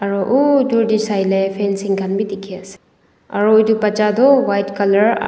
utor te saile fansing khan bhi dekhi ase aru etu batcha tu white colour aa--